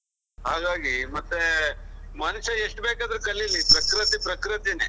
ಹಾಗಾಗಿ ಮತ್ತೆ ಮನುಷ್ಯ ಎಷ್ಟು ಬೇಕಾದ್ರು ಕಲೀಲಿ ಪ್ರಕೃತಿ ಪ್ರಕೃತಿನೇ.